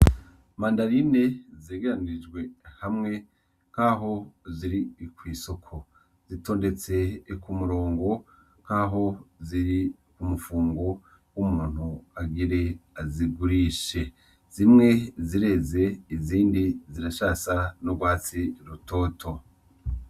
Mandarine zegeranijwe hamwe nkaho ziri kwisoko zitondetse ku murongo nkaho ziri mumufungo nk'umuntu agire azigurishe zimwe zireze izindi ziracasa n'urwatsi rutoto.